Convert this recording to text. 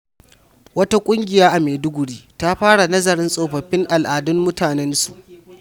Wata ƙungiya a Maiduguri ta fara nazarin tsofaffin al’adun mutanensu.